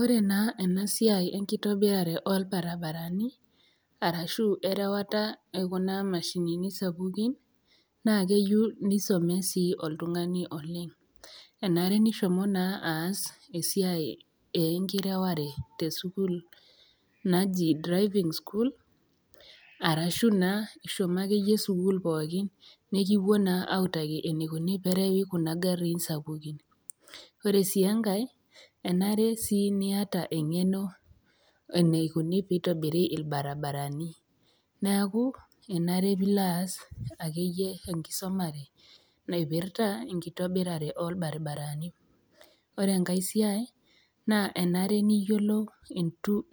Ore naa ena siai enkitobirare oo ilbaribarani we enkirewata e Kuna mashinini sapukin, naa keyou nisomee sii oltung'ani oleng', enare nishomo oltung'ani naa aas esiai enkireware te sukuul naji driving school arashu naa ishomo ake iyie sukuul pooki nekipuoi naa autaki eneikuni pee erewi Kuna gariin sapukin, ore sii enkai, enare sii niata eng'eno eneikuni pee eitobiri ilbaribarani, neaku enare pee ilo aas ake iyie enkisumare naipirita enkitobirata oo lbarabarani. Ore enkai siai naa enare niyiolou